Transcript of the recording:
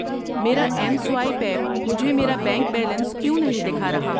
میرا M swipe app مجھے میرا بینک بیلنس کیوں نہیں دکھا رہا؟